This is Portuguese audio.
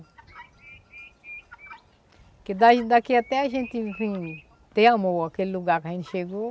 Porque daí daqui até a gente ter amor aquele lugar que a gente chegou,